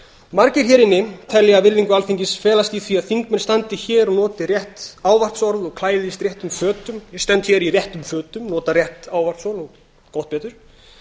margir hér inni telja virðingu alþingis felast í því að þingmenn standi hér og noti rétt ávarpsorð og klæðist réttum fötum ég stend hér í réttum fötum nota rétt ávarpsorð og gott betur